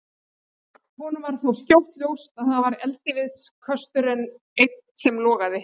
Honum varð þó skjótt ljóst að það var eldiviðarkösturinn einn sem logaði.